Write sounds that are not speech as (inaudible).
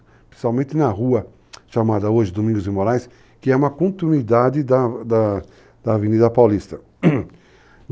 Principalmente na rua, chamada hoje Domingos e Moraes, que é uma continuidade da Avenida Paulista. (coughs)